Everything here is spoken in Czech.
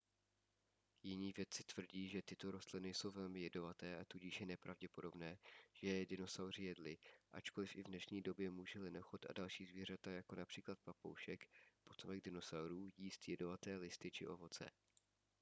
jiní vědci tvrdí že tyto rostliny jsou velmi jedovaté a tudíž je nepravděpodobné že je dinosauři jedli ačkoliv i v dnešní době může lenochod a další zvířata jako například papoušek potomek dinosaurů jíst jedovaté listy či ovoce